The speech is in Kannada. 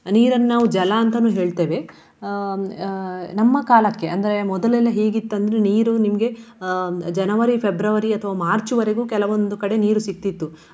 ನೀರನ್ನು ನಾವು ಜಲ ಅಂತನೂ ಹೇಳ್ತೇವೆ. ಅಹ್ ಅಹ್ ನಮ್ಮ ಕಾಲಕ್ಕೆ ಅಂದ್ರೆ ಮೊದಲೆಲ್ಲ ಹೇಗಿತ್ತು ಅಂದ್ರೆ ನೀರು ನಿಮ್ಗೆ ಅಹ್ January February ಅಥ್ವಾ March ವರೆಗೂ ಕೆಲವೊಂದು ಕಡೆ ನೀರು ಸಿಗ್ತಿತ್ತು.